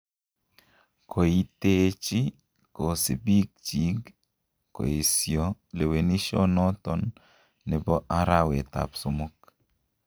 Kooiiteechi kosiibikching' koesio lewenishionoton nebo arawet ab somok.